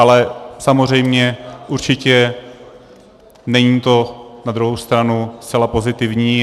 Ale samozřejmě určitě není to na druhou stranu zcela pozitivní.